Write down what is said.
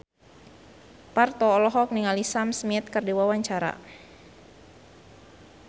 Parto olohok ningali Sam Smith keur diwawancara